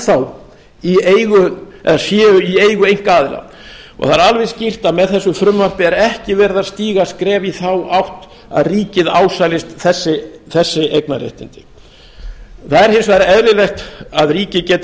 í eigu eða séu í eigu einkaaðila og það er alveg skýrt að með þessu frumvarpi er ekki verið að stíga skref í þá átt að ríkið ásælist þessi eignarréttindi það er hins vegar eðlilegt er að ríkið geti